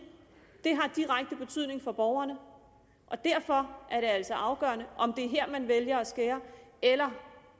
det har direkte betydning for borgerne og derfor er det altså afgørende om det er her man vælger at skære eller